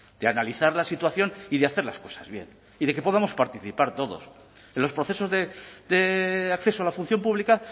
de analizar la situación y de hacer las cosas bien y de que podamos participar todos en los procesos de acceso a la función pública